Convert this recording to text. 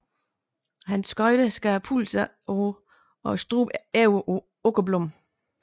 Hans skøjte skar pulsåren og struben over på Åkerblom